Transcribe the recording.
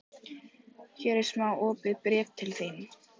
Hér er smá opið bréf til þín.